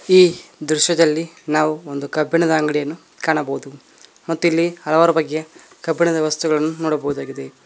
ಈ ದೃಶ್ಯದಲ್ಲಿ ನಾವು ಒಂದು ಕಬ್ಬಿಣದ ಅಂಗಡಿಯನ್ನು ಕಾಣಬಹುದು ಮತ್ತಿಲ್ಲಿ ಹಲವಾರು ಬಗೆಯ ಕಬ್ಬಿಣದ ವಸ್ತುಗಳನ್ನು ನೋಡಬೋದಾಗಿದೆ.